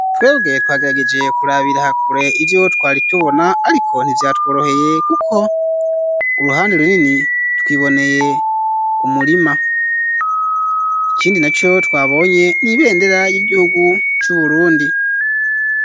Twebwe twagerageje kurabira hakure ivyo twaritubona ariko ntivyatworoheye kuko uruhande runini twiboneye kumurima, ikindi naco twabonye n'ibendera y'igihugu c'uburundi.